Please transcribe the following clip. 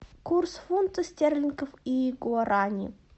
курс фунта стерлингов и гуарани